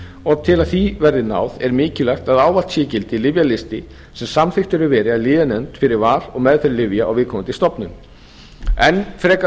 og til að því verði náð er mikilvægt að ávallt sé í gildi lyfjalisti sem samþykktur hefur verið af lyfjanefnd fyrir val og meðferð lyfja á viðkomandi stofnun enn frekara